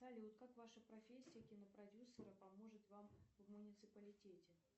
салют как ваша профессия кинопродюсера поможет вам в муниципалитете